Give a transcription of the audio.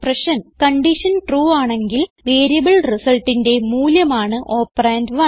condition true ആണെങ്കിൽ variable റിസൾട്ടിന്റെ മൂല്യമാണ് ഓപ്പറണ്ട് 1